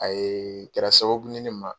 A ye kɛra sababu ye ne ma